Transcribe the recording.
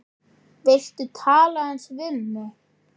Viltu tala aðeins við mig.